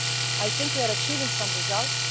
best. I think we are achieving some results.